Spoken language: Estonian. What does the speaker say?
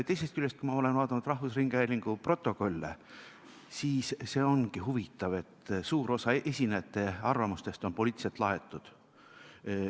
Teisest küljest, kui ma olen vaadanud rahvusringhäälingu protokolle, siis see ongi huvitav, et suur osa esinejate arvamustest on poliitiliselt laetud.